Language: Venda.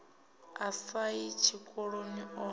a sa yi tshikoloni o